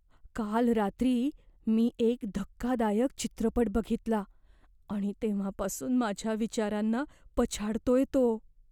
काल रात्री मी एक धक्कादायक चित्रपट बघितला, आणि तेव्हापासून माझ्या विचारांना पछाडतोय तो.